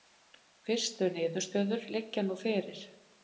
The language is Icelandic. Fyrstu niðurstöður liggja nú fyrir